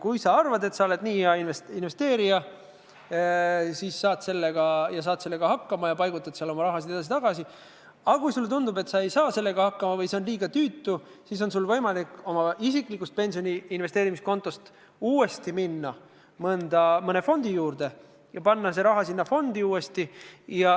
Kui sa arvad, et oled hea investeerija ja saad sellega hakkama, võid seal oma raha edasi-tagasi paigutada, aga kui sulle tundub, et sa ei saa sellega hakkama või see on liiga tüütu, siis on sul võimalik oma isikliku pensioni investeerimiskonto juurest uuesti minna mõne fondi juurde ja panna raha uuesti fondi.